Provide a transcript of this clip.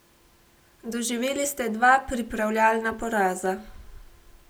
Doživeli ste dva pripravljalna poraza.